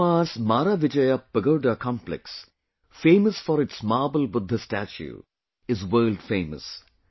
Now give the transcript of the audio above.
Myanmar’s Maravijaya Pagoda Complex, famous for its Marble Buddha Statue, is world famous